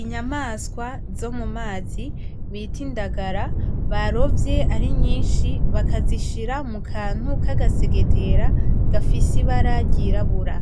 Inyamaswa zo mumazi bita indagara barovye ari nyinshi bakazishira mukantu kagasegetera gafise ibara ry'irabura